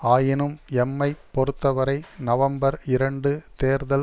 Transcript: ஆயினும் எம்மைப் பொறுத்த வரை நவம்பர் இரண்டு தேர்தல்